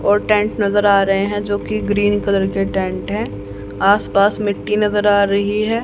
और टैंट नजर आ रहे हैं जो कि ग्रीन कलर के टैंट हैं आस पास मिट्टी नजर आ रही हैं।